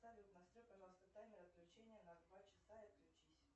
салют настрой пожалуйста таймер отключения на два часа и отключись